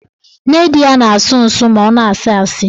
Nne di ya na-asụ nsụ ma ọ na-asị asị